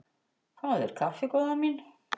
Fáðu þér kaffi góða mín.